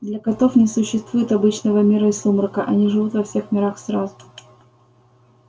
для котов не существует обычного мира и сумрака они живут во всех мирах сразу